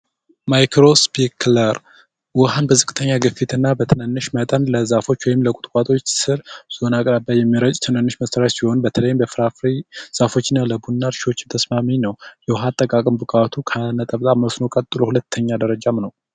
የማይክሮስፒክለር ውሃን በዝቅተኛ እና በትንንሽ መጠን ለዛፎች ወይም ለቁጥቋጦዎች ስር በተለይም ለፍራ ፍሬ እና ለቡና እርሻዎች ተስማሚ ነው ውሃ አጠቃቀም ብቃቱ ከመስኖ ቀጥሎ ሁለተኛ ደረጃ ነው።